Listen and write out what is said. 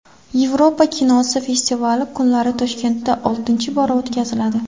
Yevropa kinosi festivali kunlari Toshkentda oltinchi bora o‘tkaziladi.